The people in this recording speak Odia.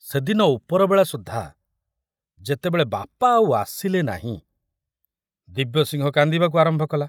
ସେଦିନ ଉପରବେଳା ସୁଦ୍ଧା ଯେତେବେଳେ ବାପା ଆଉ ଆସିଲେ ନାହିଁ, ଦିବ୍ୟସିଂହ କାନ୍ଦିବାକୁ ଆରମ୍ଭ କଲା।